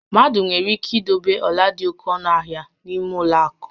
Mmadụ nwere ike idobe ọla dị oke ọnụ ahia n'ime ụlọ akụ